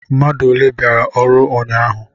Mmadu ọle biara ọrụ ụnyahụ?